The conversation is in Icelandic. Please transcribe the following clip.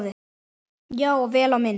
Já, og vel á minnst.